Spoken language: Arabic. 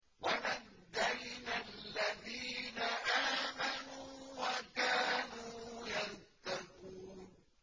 وَنَجَّيْنَا الَّذِينَ آمَنُوا وَكَانُوا يَتَّقُونَ